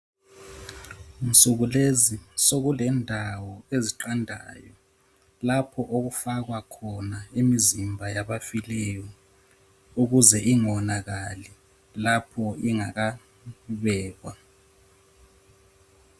Nsukulezi sokulendawo eziqandayo lapho okufakwa khona imizimba yabafileyo ukuze ingonakali lapho ingakabekwa.